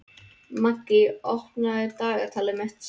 Maggý, opnaðu dagatalið mitt.